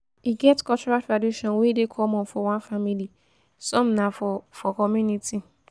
e get cultural tradition wey dey common for one family some na for for community